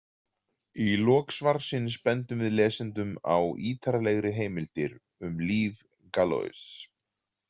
Í lok svarsins bendum við lesendum á ítarlegri heimildir um líf Galois.